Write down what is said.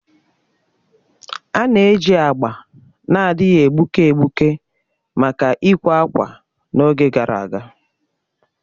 A na-eji agba na-adịghị egbuke egbuke maka ịkwè ákwà n'oge gara aga.